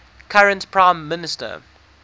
current prime minister